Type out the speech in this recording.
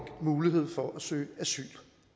mulighed for at søge asyl